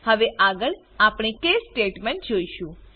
હવે આગળ આપણે કેસ સ્ટેટમેન્ટ જોશું